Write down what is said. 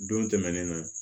Don tɛmɛnnen na